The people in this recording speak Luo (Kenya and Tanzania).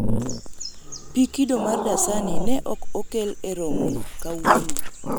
pii kido mar dasani ne ok okel e romo kawuono